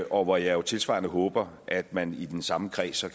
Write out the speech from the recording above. og hvor jeg jo tilsvarende håber at man i den samme kreds